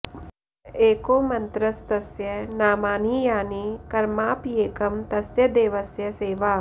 एको मन्त्रस्तस्य नामानि यानि कर्माप्येकं तस्य देवस्य सेवा